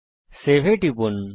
save এ টিপুন